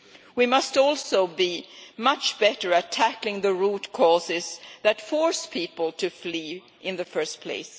We must also be much better at tackling the root causes that force people to flee in the first place.